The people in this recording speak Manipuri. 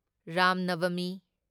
ꯔꯥꯝ ꯅꯚꯃꯤ